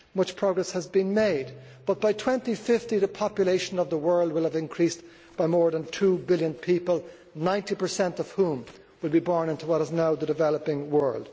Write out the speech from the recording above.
Much progress has been made, but by 2050 the population of the world will have increased by more than two billion people, 90 of whom will be born into what is now the developing world.